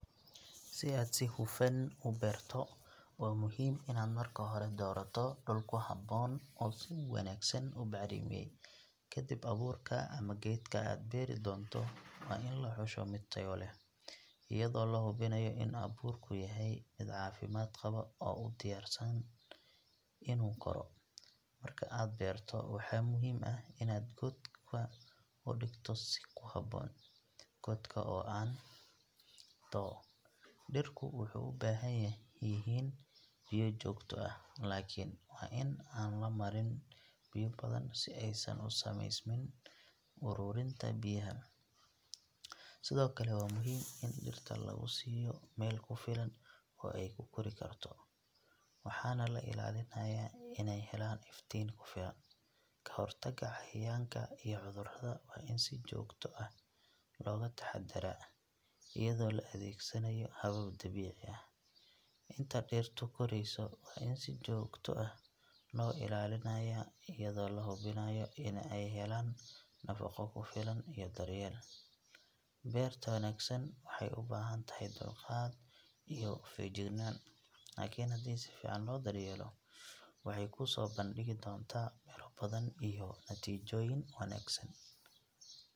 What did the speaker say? Si aad si hufan u beerto, waa muhiim inaad marka hore doorato dhul ku habboon oo si wanaagsan u bacrimiyay. Ka dib, abuurka ama geedka aad beeri doonto waa in la xusho mid tayo leh, iyadoo la hubinayo in abuurku yahay mid caafimaad qaba oo u diyaarsan inuu koro. Marka aad beerto, waxaa muhiim ah in aad godka u dhigto si ku habboon, godka oo aan too, dhirku waxay u baahan yihiin biyo joogto ah, laakiin waa in aan la marin biyo badan si aysan u samaysmin ururinta biyaha. Sidoo kale, waa muhiim in dhirta lagu siiyo meel ku filan oo ay ku kori karto, waxaana la ilaalinayaa inay helaan iftiin ku filan. Ka hortagga cayayaanka iyo cudurrada waa in si joogto ah looga taxadaraa iyadoo la adeegsanayo habab dabiici ah. Inta dhirtu korayso, waa in si joogto ah loo ilaalinayaa iyadoo la hubinayo in ay helaan nafaqo ku filan iyo daryeel. Beerta wanaagsan waxay u baahan tahay dulqaad iyo feejignaan, laakiin haddii si fiican loo daryeelo, waxay kuu soo bandhigi doontaa miro badan iyo natiijooyin wanaagsan.